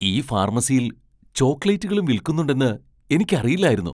ഈ ഫാർമസിയിൽ ചോക്ലേറ്റുകളും വിൽക്കുന്നുണ്ടെന്ന് എനിക്കറിയില്ലായിരുന്നു!